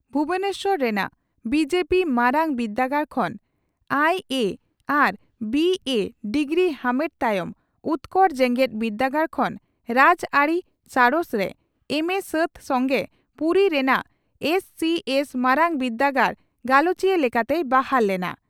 ᱵᱷᱩᱵᱚᱱᱮᱥᱚᱨ ᱨᱮᱱᱟᱜ ᱵᱤᱹᱡᱮᱹᱵᱤᱹ ᱢᱟᱨᱟᱝ ᱵᱤᱨᱫᱟᱹᱜᱟᱲ ᱠᱷᱚᱱ ᱟᱭᱤᱹᱮᱹ ᱟᱨ ᱵᱤᱹᱮᱹ) ᱰᱤᱜᱨᱤ ᱟᱢᱮᱴ ᱛᱟᱭᱚᱢ ᱩᱛᱠᱚᱲ ᱡᱮᱜᱮᱛ ᱵᱤᱨᱫᱟᱹᱜᱟᱲ ᱠᱷᱚᱱ ᱨᱟᱡᱽᱟᱹᱨᱤ ᱥᱟᱬᱮᱥ ᱨᱮ ᱮᱢᱹᱮᱹ ᱥᱟᱹᱛ ᱥᱚᱝᱜᱮ ᱯᱩᱨᱤ ᱨᱮᱱᱟᱜ ᱮᱥᱹᱥᱤᱹᱮᱥᱹ ᱢᱟᱨᱟᱝ ᱵᱤᱨᱫᱟᱹᱜᱟᱲᱨᱮ ᱜᱟᱞᱚᱪᱤᱭᱟᱹ ᱞᱮᱠᱟᱛᱮᱭ ᱵᱟᱦᱟᱞ ᱞᱮᱱᱟ ᱾